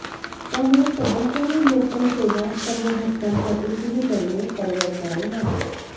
त्यामुळे सध्यातरी लोकलसेवा सर्व घटकांसाठी सुरू करणे परवडणारे नाही